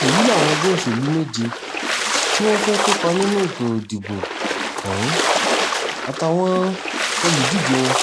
èyí làwọn ẹgbẹ́ òṣèlú méje tí wọ́n fẹ́ẹ́ kópa nínú ètò ìdìbò ọ̀hún àtàwọn olùdíje wọn